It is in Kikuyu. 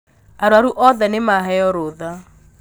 Arwaru othe nīmaheo rūtha